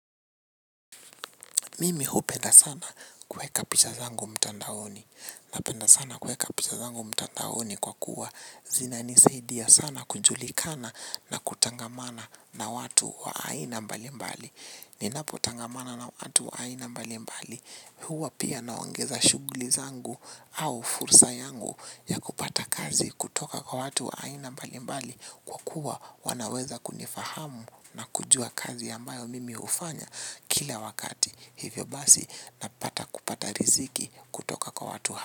Mimi hupenda sana kueka picha zangu mtandaoni. Napenda sana kueka picha zangu mtandaoni kwa kuwa zinanisaidia sana kujulikana na kutangamana na watu wa aina mbali mbali. Ninapotangamana na watu wa aina mbalimbali. Huwa pia naongeza shugli zangu au fursa yangu ya kupata kazi kutoka kwa watu wa aina mbalimbali kwa kuwa wanaweza kunifahamu na kujua kazi ambayo mimi hufanya kila wakati. Hivyo basi napata kupata riziki kutoka kwa watu hapa.